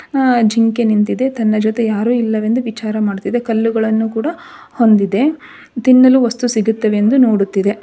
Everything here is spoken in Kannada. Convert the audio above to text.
ಅ ಜಿಂಕೆ ನಿಂತಿದೆ ತನ್ನ ಜೊತೆ ಯಾರು ಇಲ್ಲವೆಂದು ವಿಚಾರ ಮಾಡುತ್ತಿದೆ ಕಲ್ಲುಗಳನ್ನು ಕೂಡ ಹೊಂದಿದೆ ತಿನ್ನಲು ವಸ್ತು ಸಿಗುತ್ತವೆ ಎಂದು ನೋಡುತ್ತಿದೆ.